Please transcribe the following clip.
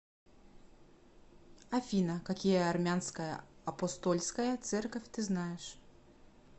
афина какие армянская апостольская церковь ты знаешь